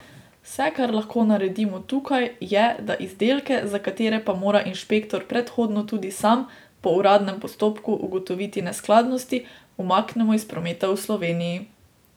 Vse, kar lahko naredimo tukaj, je, da izdelke, za katere pa mora inšpektor predhodno tudi sam, po uradnem postopku, ugotoviti neskladnosti, umaknemo iz prometa v Sloveniji.